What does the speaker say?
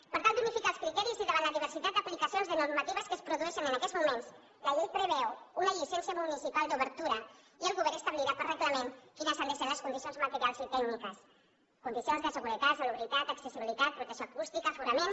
per tal d’unificar els criteris i davant la diversitat d’aplicacions de normatives que es produeixen en aquests moments la llei preveu una llicència municipal d’obertura i el govern establirà per reglament quines han de ser les condicions materials i tècniques condicions de seguretat salubritat accessibilitat protecció acústica aforament